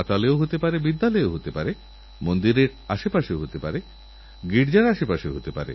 আপনারাও কোনও কোনও সময়ে ভুল করে ফেলেন কারণ ওরা এত সুন্দর করে আপনাদেরচিঠি লেখে যে মনে হয় যেন একেবারে আসল